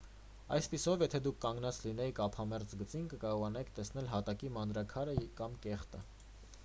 այսպիսով եթե դուք կանգնած լինեիք ափամերձ գծին կկարողանայիք տեսնել հատակի մանրաքարը կամ կեղտը